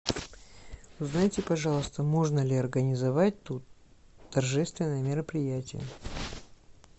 узнайте пожалуйста можно ли организовать тут торжественные мероприятия